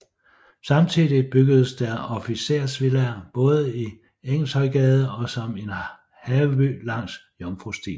Samtidigt byggedes der officersvillaer både i Engelshøjgade og som en haveby langs Jomfrustien